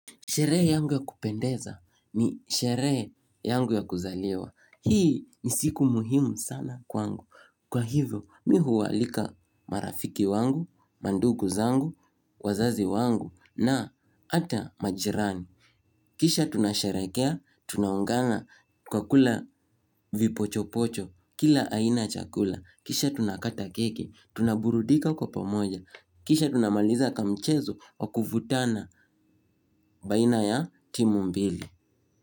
Sherehe yangu ya kupendeza ni sherehe yangu ya kuzaliwa. Hii ni siku muhimu sana kwangu. Kwa hivyo mimi huwa alika marafiki wangu, mandugu zangu, wazazi wangu na hata majirani. Kisha tunasherehekea, tunaungana kwa kula vipocho pocho, kila aina ya chakula. Kisha tunakata keki, tunaburudika kwa pamoja. Kisha tunamaliza kwa mchezo wa kuvutana baina ya timu mbili.